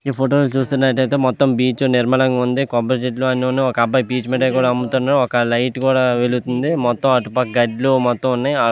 ఈ ఫోటో చూస్తునట్టు అయతె మొత్తం బీచ్ నిర్మలంగా వుంది కొబ్బరి చెట్లు అన్ని వున్నాయ్ ఒక అబ్బాయి పీచ్ మిఠాయి కూడా అమ్ముతునాడు ఒక లైట్ కూడా వెలుగుతూ వుంది మొత్తం అటుపక్క గడ్డులు మొత్తం అన్ని వున్నాయ్. ఆ --